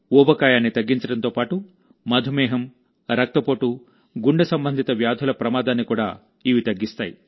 ఊబకాయాన్ని తగ్గించడంతో పాటు మధుమేహం రక్తపోటు గుండె సంబంధిత వ్యాధుల ప్రమాదాన్ని కూడా ఇవి తగ్గిస్తాయి